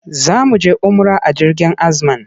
Za mu je umra a jirgin Azman.